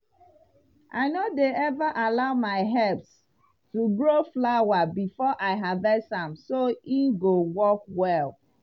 i no dey ever allow my herbs to grow flower before i harvest am so e go work well.